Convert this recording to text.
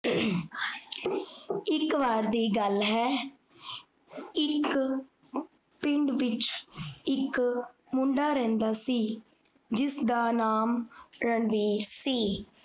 ਇਕ ਵਾਰ ਦੀ ਗਲ ਹੈ, ਇਕ ਪਿੰਡ ਵਿਚ ਇਕ ਮੁੰਡਾ ਰਹੰਦਾ ਸੀ, ਜਿਸਦਾ ਨਾਮ ਰਣਬੀਰ ਸੀ